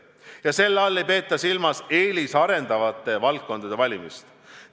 Ja selle all ei peeta silmas eelisarendatavate valdkondade valimist.